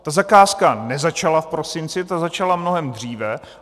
Ta zakázka nezačala v prosinci, ta začala mnohem dříve.